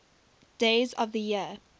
days of the year